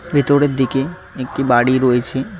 ভেতরের দিকে একটি বাড়ি রয়েছে।